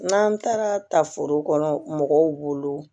N'an taara tafo kɔnɔ mɔgɔw wolo